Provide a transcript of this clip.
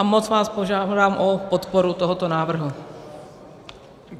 A moc vás žádám o podporu tohoto návrhu.